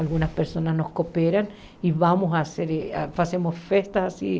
Algumas pessoas não cooperam e vamos fazer fazemos festas assim.